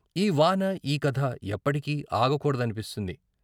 ఈ వాన ఈ కథ ఎప్పటికీ ఆగకూడ దనిపిస్తుంది.